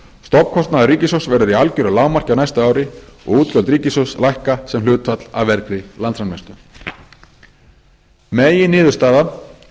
stofnkostnaður ríkissjóðs verður í algeru lágmarki á næsta ári og útgjöld ríkissjóðs lækka sem hlutfall af vergri landsframleiðslu meginniðurstaða stefnumörkunar